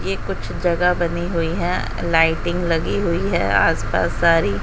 ये कुछ जगह बनी हुई है लाइटिंग लगी हुई है आस पास सारी --